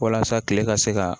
Walasa tile ka se ka